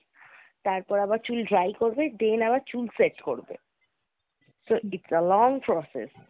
তারপর আবার চুল dry করবে then আবার চুল set করবে So it's a long process.